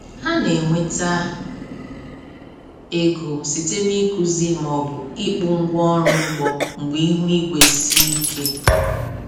Ha na-enweta ego site n’ịkụzi ma o bụ ịkpụ ngwa ọrụ ugbo mgbe ihu igwe sie ike.